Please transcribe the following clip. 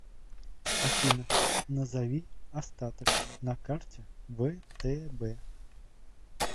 афина назови остаток на карте втб